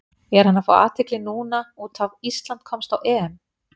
Er hann að fá athygli núna út af Ísland komst á EM?